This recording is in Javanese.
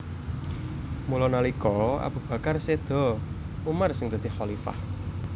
Mula nalika Abu Bakar séda Umar sing dadi khalifah